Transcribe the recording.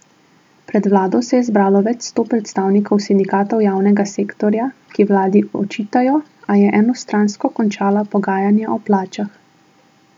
Pred vlado se je zbralo več sto predstavnikov sindikatov javnega sektorja, ki vladi očitajo, a je enostransko končala pogajanja o plačah.